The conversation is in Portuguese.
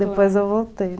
Depois eu voltei.